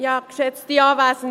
Es ändert nichts.